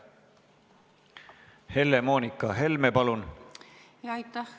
Helle-Moonika Helme, palun!